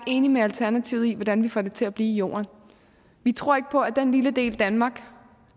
enige med alternativet i hvordan vi får det til at blive jorden vi tror ikke på at den lille del danmark